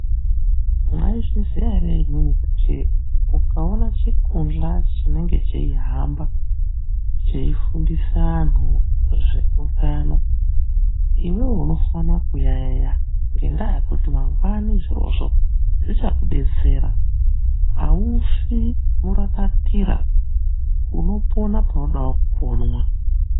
Mwaizviziya ere imwimwi kuti ukaone chikunhla chinenge cheihamba cheifundise antu zveutano, iwewe unofano kuyayeya ngendaa yekuti mangwani izvozvo zvichakudetsera. Aufi murakatira unoponavo panoda kuponwa.